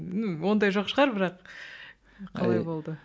ну ондай жоқ шығар бірақ қалай болды